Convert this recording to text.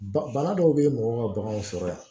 Ba bana dɔw bɛ mɔgɔw ka baganw sɔrɔ yan